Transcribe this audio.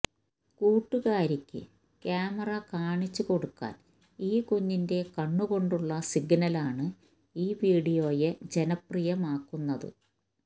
കൂട്ടുകാരിക്ക് camera കാണിച്ചുകൊടുക്കാന് ഈ കുഞ്ഞിന്റെ കണ്ണുകൊണ്ടുള്ള സിഗ്നലാണ് ഈ വിഡിയോയെ ജനപ്രിയമാക്കുന്നത്